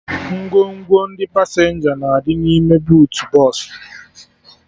Ngwongwo ndị pasenja na-adị n'ime buutu bọsụ